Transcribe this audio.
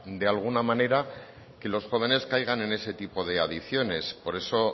de alguna manera que los jóvenes caigan en ese tipo de adicciones por eso